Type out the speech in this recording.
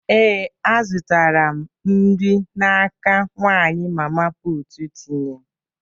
Ee, azụtara m nri n'aka nwanyị mama putu tinye.